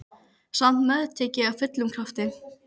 Samt meðtek ég af fullum krafti.